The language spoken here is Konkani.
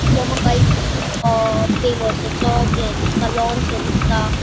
वो मका एक ग्रीन अ पेवर्ससाचो हे दिसता लॉन सो दिसता.